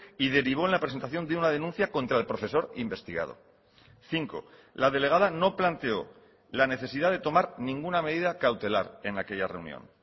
y derivó en la presentación de una denuncia contra el profesor investigado cinco la delegada no planteó la necesidad de tomar ninguna medida cautelar en aquella reunión